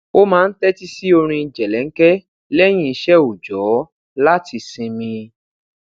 ó máa ń tétí sí orin jelenke leyin ise oojo láti sinmi